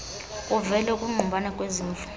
kuvele ukungqubana kwezimvo